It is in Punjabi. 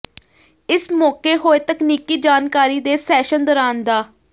ਇਸ ਮੌਕੇ ਹੋਏ ਤਕਨੀਕੀ ਜਾਣਕਾਰੀ ਦੇ ਸੈਸ਼ਨ ਦੌਰਾਨ ਡਾ